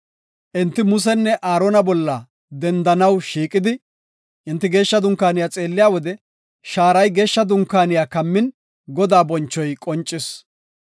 Enti Musenne Aarona bolla dendanaw shiiqidi, enti geeshsha dunkaaniya xeelliya wode shaaray geeshsha dunkaaniya kammin, Godaa bonchoy qoncis.